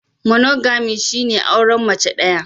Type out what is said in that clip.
Monogamy shine auren mace daya.